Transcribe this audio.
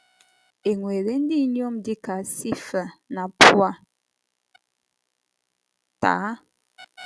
È nwere ndị inyom dị ka Shifra na Pua taa?